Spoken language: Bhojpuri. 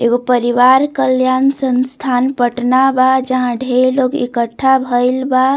एगो परिवार कल्याण संसथान पटना बा जहां ढेर लोग इकट्ठा भइल बा।